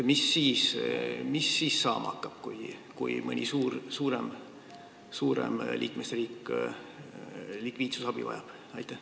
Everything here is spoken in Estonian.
Mis siis saama hakkab, kui mõni suurem liikmesriik likviidsusabi vajab?